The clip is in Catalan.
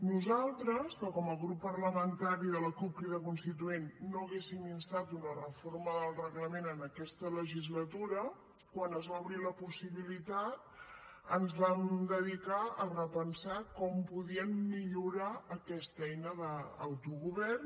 nosaltres que com a grup parlamentari de la cup crida constituent no hauríem instat una reforma del reglament en aquesta legislatura quan es va obrir la possibilitat ens vam dedicar a repensar com podíem millorar aquesta eina d’autogovern